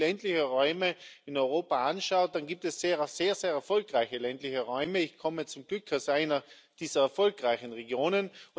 Und wenn man sich ländliche Räume in Europa anschaut, dann gibt es sehr, sehr erfolgreiche ländliche Räume. Ich komme zum Glück aus einer dieser erfolgreichen Regionen.